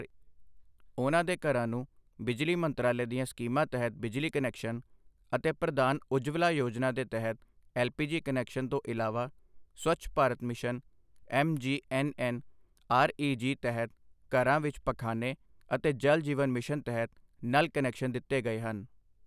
ਉਨ੍ਹਾਂ ਦੇ ਘਰਾਂ ਨੂੰ ਬਿਜਲੀ ਮੰਤਰਾਲੇ ਦੀਆਂ ਸਕੀਮਾਂ ਤਹਿਤ ਬਿਜਲੀ ਕਨੈਕਸ਼ਨ ਅਤੇ ਪ੍ਰਧਾਨ ਉੱਜਵਲਾ ਯੋਜਨਾ ਦੇ ਤਹਿਤ ਐੱਲਪੀਜੀ ਕਨੈਕਸ਼ਨ ਤੋਂ ਇਲਾਵਾ ਸਵੱਛ ਭਾਰਤ ਮਿਸ਼ਨ ਐੱਮਜੀਐੱਨਐੱਨਆਰਈਜੀ ਤਹਿਤ ਘਰਾਂ ਵਿੱਚ ਪਖ਼ਾਨੇ ਅਤੇ ਜਲ ਜੀਵਨ ਮਿਸ਼ਨ ਤਹਿਤ ਨਲ ਕਨੈਕਸ਼ਨ ਦਿੱਤੇ ਗਏ ਹਨ।